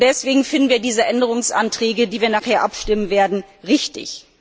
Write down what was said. Deswegen finden wir diese Änderungsanträge, über die wir nachher abstimmen werden, richtig.